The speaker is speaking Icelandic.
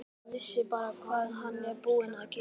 Ef hann vissi bara hvað hann er búinn að gera.